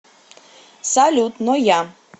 салют но я